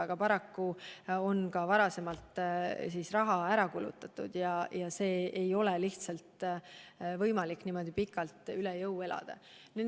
Aga paraku on varem ka raha ära kulutatud ja ei ole lihtsalt võimalik niimoodi pikalt üle jõu elada.